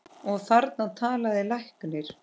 Og þarna talaði læknir.